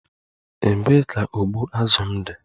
Ebee ka ụgbụ azụ m dị?